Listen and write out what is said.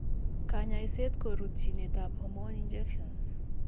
Kanyaiset ko rutchinet ab hormone injections